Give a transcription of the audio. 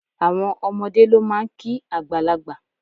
Àwọn omodé ló máa n kí àgbàlagbà